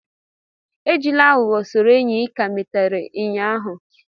Ejila aghugho soro enyi ị ka malitere ụnyaahụ